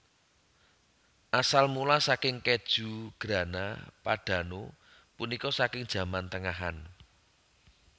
Asal mula saking kèju Grana Padano punika saking zaman tengahan